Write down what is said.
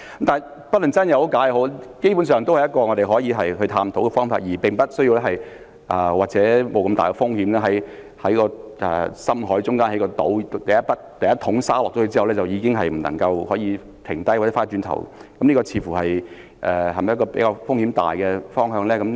但不論真假，基本上也是我們可以探討的方法，而不需要冒如此大的風險，在深海中興建一個島，第一桶沙倒下後便不能停止或回頭，這是否風險較大的方向呢？